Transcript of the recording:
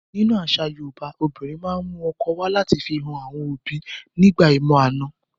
Nínú àṣà Yoòbá, obìnrin ma n mu ọkọ wa lati fi han àwọn òbi nígbà ìmọ-àna